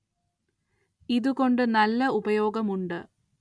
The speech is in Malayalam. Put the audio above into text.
ഇതു കൊണ്ട് നല്ല ഉപയോഗം ഉണ്ട്